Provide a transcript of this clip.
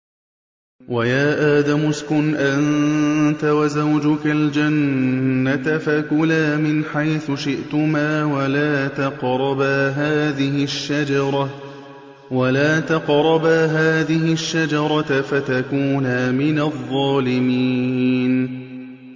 وَيَا آدَمُ اسْكُنْ أَنتَ وَزَوْجُكَ الْجَنَّةَ فَكُلَا مِنْ حَيْثُ شِئْتُمَا وَلَا تَقْرَبَا هَٰذِهِ الشَّجَرَةَ فَتَكُونَا مِنَ الظَّالِمِينَ